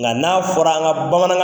Nga na fɔra an ka bamanan